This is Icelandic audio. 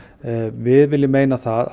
við viljum meina það